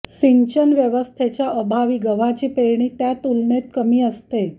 सिंचन व्यवस्थेच्या अभावी गव्हाची पेरणी त्यातुलनेत कमी असते